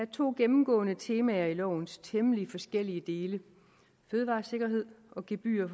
to gennemgående temaer i lovens temmelig forskellige dele fødevaresikkerhed og gebyrer